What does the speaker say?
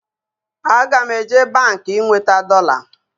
Aga m eje Baankị ị nweta dọla